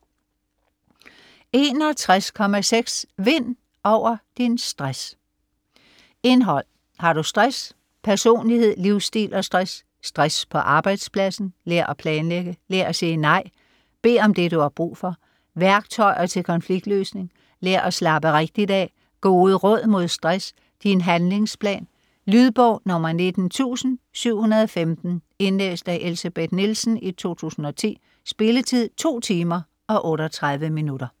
61.6 Vind over din stress Indhold: Har du stress?; Personlighed, livsstil og stress; Stress på arbejdspladsen; Lær at planlægge; Lær at sige nej; Bed om det du har brug for; Værktøjer til konfliktløsning; Lær at slappe (rigtigt) af; Gode råd mod stress; Din handlingsplan. Lydbog 19715 Indlæst af Elsebeth Nielsen, 2010. Spilletid: 2 timer, 38 minutter.